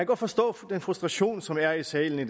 godt forstå den frustration som er i salen i